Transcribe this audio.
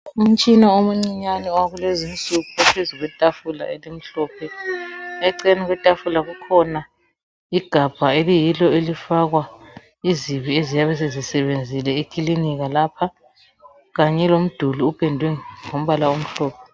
Umtshina omncinyane wakulezinsuku ophezu kwetafula elimhlophe. Eceleni kwetafula kukhona igabha eliyilo elifakwa izibi eziyabe sezisebenzile ekiliniki lapha. Kanye lomduli upendwe ngombala omhlophe.